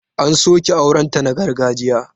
An soke aurenta na gargajiya.